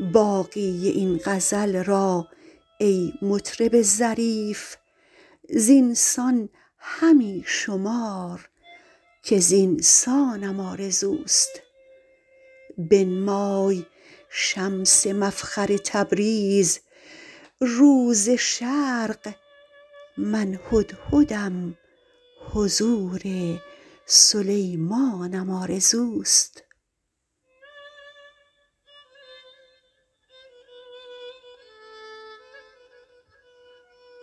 باقی این غزل را ای مطرب ظریف زین سان همی شمار که زین سانم آرزوست بنمای شمس مفخر تبریز رو ز شرق من هدهدم حضور سلیمانم آرزوست